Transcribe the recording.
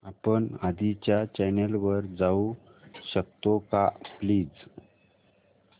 आपण आधीच्या चॅनल वर जाऊ शकतो का प्लीज